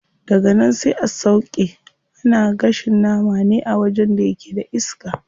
Daganan sai a sauƙe, ana gashin nama ne a wajen da yake da iska.